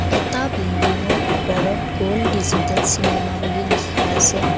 এটা বিল্ডিংৰ ওপৰত গোল্ড ডিজিটেল চিনেমা বুলি লিখা আছে।